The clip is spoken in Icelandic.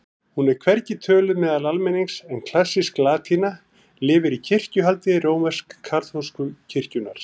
Hún er hvergi töluð meðal almennings en klassísk latína lifir í kirkjuhaldi rómversk-kaþólsku kirkjunnar.